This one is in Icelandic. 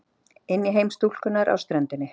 Inn í heim stúlkunnar á ströndinni.